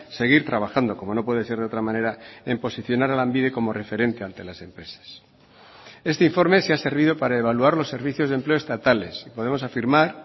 seguir trabajando como no puede ser de otra manera en posicionar a lanbide como referente ante las empresas este informe si ha servido para evaluar los servicios de empleo estatales podemos afirmar